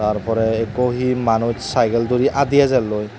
tar porey ekko he manuch saigel dori adi ejelloi.